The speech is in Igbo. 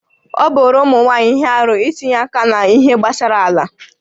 Ọ bụụrụ ụmụ nwaanyị ihe arụ itinye aka n'ihe gbasara ala